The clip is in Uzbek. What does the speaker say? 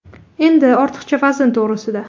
Endi ortiqcha vazn to‘g‘risida.